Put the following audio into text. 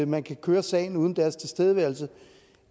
man kan køre sagen uden deres tilstedeværelse